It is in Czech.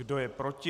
Kdo je proti?